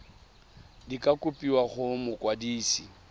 di ka kopiwa go mokwadise